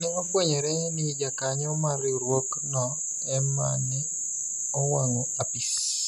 ne ofwenyore ni jakanyo mar riwruok no ema ne owang'o apis